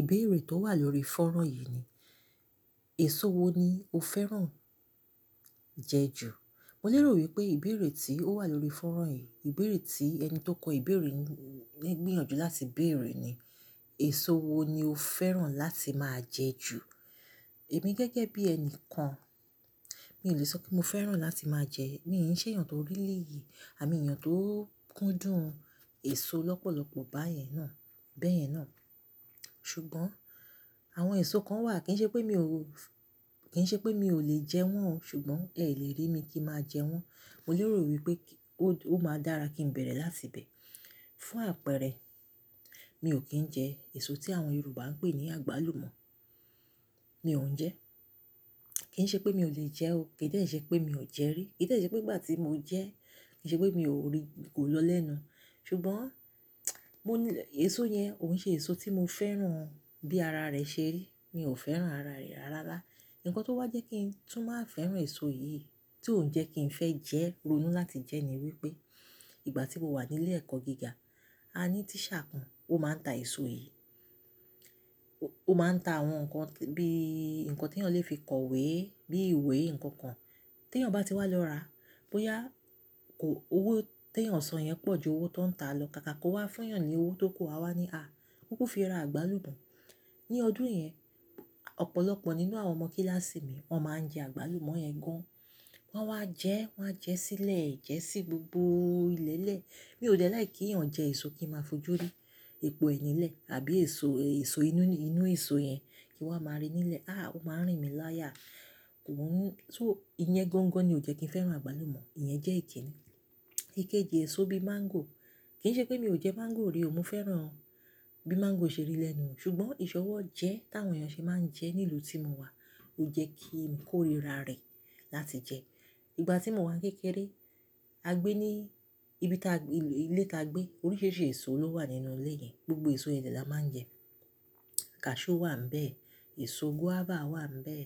Ìbéèrè tó wà lórí fọ́nrán yìí ni, èso wo ni o fẹ́ràn jẹ ju? Mo lérò wípé ìbéèrè tí ó wà lórí fọ́nrán yìí, ìbéèrè tí ẹni tó kọ ìbéèrè ń gbìyànjú láti béèrè ni, èso wo ni o fẹ́ràn láti máa jẹ ju? Èmi gẹ́gẹ́ bí ẹni kan, mi ò lè sọ pé mo fẹ́ràn láti máa jẹ, mí ṣe èèyàn tó rí rilìí, àmí èèyàn tó kúndùn èso lọ́pọ̀lọpọ̀ báyẹn náà, bẹ́ẹ̀ náà. Ṣùgbọ́n àwọn èso kan wà kí n ṣe pé mi ò, kí n ṣe pé mi ò lè jẹ wọ́n o, ṣùgbọ́n ẹ lè rí mi kí máa jẹ wọ́n. Mo lérò wípé ó máa dára kí ń bẹ̀rẹ̀ láti ibẹ̀. Fún àpẹẹrẹ, mi ò kín ń jẹ èso tí àwọn Yorùbá ń pè ní àgbálùmọ́. Mi ò ń jẹ. Kí n ṣe pé mi ò lè jẹ ó, kì í dẹ́rẹ̀ ṣe pé mi ò jẹ rí, kì í dẹ́rẹ̀ ṣe pé ìgbà tí mo jẹ, kì í ṣe pé mi ò rí kò lọ lẹ́nu. Ṣùgbọ́n mo nílè, èso yẹn òun ṣe èso tí mo fẹ́ràn bí ara rẹ̀ ṣe rí. Mi ò fẹ́ràn ara rẹ̀ rárá. Ǹkan tó wá jẹ́ kí n tún máa fẹ́ràn èso yìí tí òun jẹ́ kí n fẹ́ jẹ́ ronú láti jẹ́ ni wípé ìgbà tí mo wà nílé ẹ̀kọ́ gíga, a ní tíṣà kan, ó máa ń ta èso yìí. Ó máa ń ta àwọn nǹkan bí i nǹkan tí èèyàn lè fi kọ ìwé, bí ìwé, nǹkan kan. Tí èèyàn bá ti wá lọ ra, bóyá kò, owó tí èèyàn sọ yẹn pọ̀ ju owó tó ń ta lọ, kàkà kó wá fún èèyàn ní owó tó kù, à wa ní, "à, kukú fi ra àgbálùmọ́." Ní ọdún yẹn, ọ̀pọ̀lọpọ̀ nínú àwọn ọmọ kíláàsì mi, wọ́n máa ń jẹ àgbálùmọ́ yẹn gan. Wọ́n wá jẹ́, wọ́n á jẹ sílẹ̀, jẹ́ sí gbogbo ilẹ̀lẹ̀. Mi ò dẹ láì kí èèyàn jẹ èso kí n máa fojú rí. Epo ẹnílẹ̀ àbí èso, èso inú, inú èso yẹn kí wọ́n máa rí nílẹ̀. À, ó máa ń rìn mí láyà. Kò ń, so ìyẹn gańgan ni ò jẹ́ kí n fẹ́ràn àgbálùmọ́, ìyẹn jẹ́ ìdí. Ìkéji èso bí i máńgò, kì í ṣe pé mi ò jẹ máńgò rí o, mo fẹ́ràn bí máńgò ṣe rí lẹ́nu. Ṣùgbọ́n ìṣọwọ́ jẹ́ táwọn èèyàn ṣe máa ń jẹ ní ìlú tí mo wà, ò jẹ́ kí n kórìíra rẹ̀ láti jẹ. Ìgbà tí mo wà kékeré, a gbé ní ibi táa gbé, ilé táa gbé, oríṣiríṣi èso ló wà nínú ilé yẹn. Gbogbo èso ilẹ̀ la máa ń jẹ. Kashú wà níbẹ̀, èso guava wà níbẹ̀,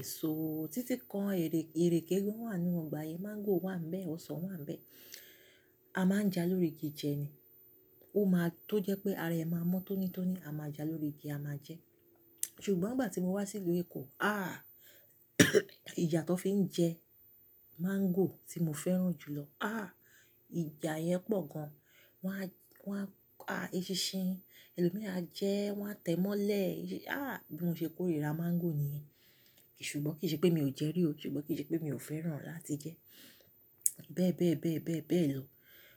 èso títí kan, erè, erèké gan wà nínú ọgbà yẹn, máńgò wà níbẹ̀, ọsàn wà níbẹ̀. A máa ń jẹ á lórí igi jẹ ni. Ó máa, tó jẹ́ pé ara ẹ máa mọ́ tónítóní, a máa jẹ á lórí igi, a máa jẹ. Ṣùgbọ́n ìgbà tí mo wá sí ìlú Èkó, à ìjà tó fi ń jẹ máńgò tí mo fẹ́ràn jùlọ, à ìjà yẹn pọ̀ gan. Wọ́n á, wọ́n á, à, eṣinṣin, ẹlòmíràn jẹ ẹ́, wọ́n á tẹ̀ mọ́lẹ̀. À, bí mo ṣe kórìíra máńgò nìyẹn. Ṣùgbọ́n kì í ṣe pé mi ò jẹ rí o, ṣùgbọ́n kì í ṣe pé mi ò fẹ́ràn láti jẹ. Bẹ́ẹ̀, bẹ́ẹ̀, bẹ́ẹ̀, bẹ́ẹ̀, bẹ́ẹ̀ lọ.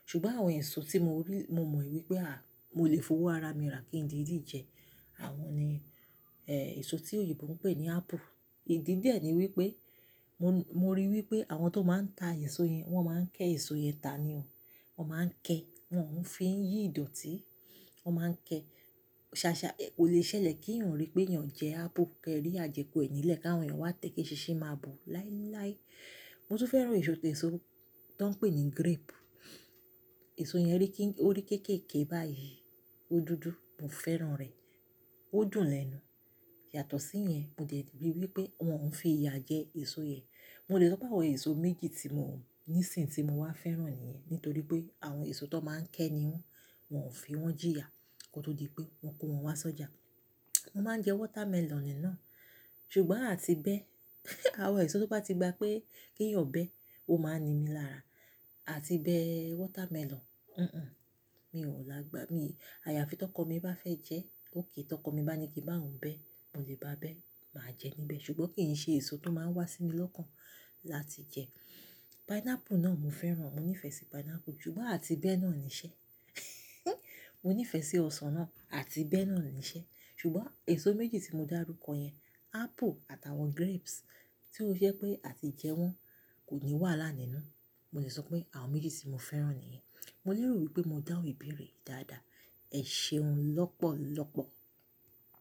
Ṣùgbọ́n àwọn èso tí mo rí, mo mọ̀ wípé à, mo lè fowó ara mi rà kí n didi jẹ, àwọn ni, èso tí òyìnbó ń pè ní apple. Ìdí de ni wípé mo, mo ríi wípé àwọn tó máa ń ta èso yẹn, wọ́n máa ń ké èso yẹn ta ni o. Wọ́n máa ń ké, wọ́n ò fi ń yí ìdọ̀tí, wọ́n máa ń ké. Ṣàṣà kò lè ṣẹlẹ̀ kí èèyàn rí pé èèyàn jẹ apple, kẹ́rí ajẹku ẹnílẹ̀ káwọn èèyàn wá tẹ̀ kí eṣinṣin máa bo láíláí. Mo tún fẹ́ràn èso tẹ́ẹ̀sì tọ́n pè ní grape. Èso yẹn rí kí, ó rí kéékèèké báyìí, ó dúdú, mo fẹ́ràn rẹ̀. Ó dùn lẹ́nu. Yàtọ̀ sí ìyẹn, mo dẹ̀ ti rí i wípé wọ́n ń fi ìyà jẹ èso yẹn. Mo lè sọ pé àwọn èso méjì tí mò ní ìsìn tí mo wá fẹ́ràn nìyẹn nítorí pé àwọn èso tó máa ń ké ni wọ́n, wọ́n ò fi wọ́n jìyà kó tó di pé wọ́n kó wọn wá sọ́jà. Mo máa ń jẹ watermelon nìná. Ṣùgbọ́n à ti bẹ́, àwọn èso tó bá ti gba pé kí èèyàn bẹ́, ó máa ni mí lára. À ti bẹ́ watermelon, n n, mi ò lágbà. Mi, àyàfi tí ọkọ mi bá fẹ́ jẹ, óké. Tí ọkọ mi bá ní kí bá òun bẹ́, mo lè bá bẹ́, màá jẹ níbẹ̀. Ṣùgbọ́n kì í ṣe èso tó máa ń wá sí mi lọ́kàn láti jẹ. Pineapple náà mo fẹ́ràn, mo nífẹ̀ẹ́ sí pineapple ṣùgbọ́n à ti bẹ́ náà ni iṣẹ́. Mo nífẹ̀ẹ́ sí ọsàn náà àti bẹ́ náà ni iṣẹ́. Ṣùgbọ́n èso méjì tí mo dárúkọ yẹn, apple àtàwọn grapes tí ó ṣe pé à ti jẹ wọ́n kò ní wà lálẹ́ nínú. Mo lè sọ pé àwọn méjì tí mo fẹ́ràn nìyẹn. Mo lérò wípé mo dá òun ìbéèrè dáadáa. Ẹ ṣeun lọ́pọ̀lọpọ̀.